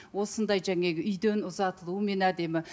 осындай үйден ұзатылуымен әдемі